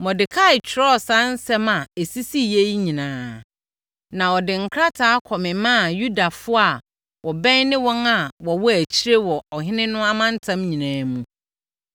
Mordekai twerɛɛ saa nsɛm a ɛsisiiɛ yi nyinaa, na wɔde nkrataa kɔmemaa Yudafoɔ a wɔbɛn ne wɔn a wɔwɔ akyiri wɔ ɔhene no amantam nyinaa mu,